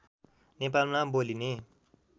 नेपालमा बोलिने